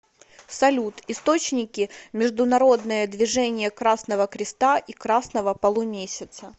салют источники международное движение красного креста и красного полумесяца